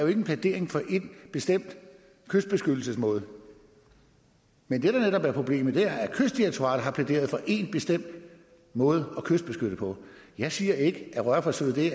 er en plædering for en bestemt kystbeskyttelsesmåde men det der netop er problemet er at kystdirektoratet har plæderet for én bestemt måde at kystbeskytte på jeg siger ikke at rørforsøg er det